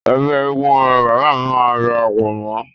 Ẹgbẹ́ eégún ni bàbá máa darapọ̀ mọ́..